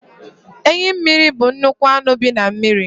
Enyi mmiri bụ nnukwu anụ bi na mmiri.